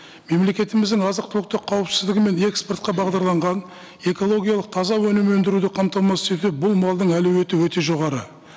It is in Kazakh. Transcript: мемлекетіміздің азық түліктік қауіпсіздігі мен экспортқа бағдарланған экологиялық таза өнім өндіруді қамтамасыз ету бұл малдың әлеуеті өте жоғары